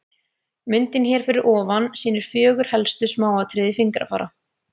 Myndin hér fyrir ofan sýnir fjögur helstu smáatriði fingrafara.